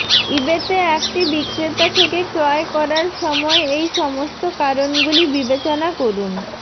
ইবেতে একটি বিক্রেতা থেকে ক্রয় করার সময় এই সমস্ত কারণগুলি বিবেচনা করুন